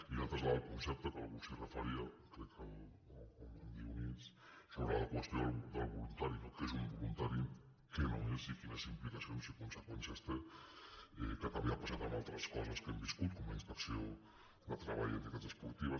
i l’altre és el del concepte que algú s’hi referia crec que el dionís sobre la qüestió del voluntari no què és un voluntari què no és i quines implicacions i conseqüències té que també ha passat amb altres coses que hem viscut com la inspecció de treball a entitats esportives